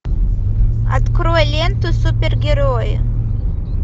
открой ленту супергерои